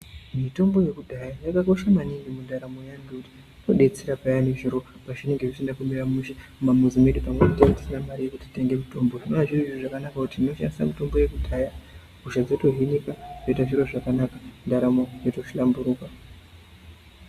Mitombo yekudhaya yakakosha maningi mundaramo eyani, ngekuti inodetsera payani zviro pezvinenge zvisina kumira mushe mumamuzi medu, pamweni tinenge tisina mare yekuti titenge mitombo. Zvinova zviri zviro zvakanaka kuti tinoshandisa mitombo yekudhaya, hosha dzotohinika, zvoite zviro zvakanaka, ndaramo yoto hlamburuka.